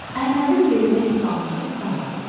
Əhmədin belinə ip bağlayıb salladırlar.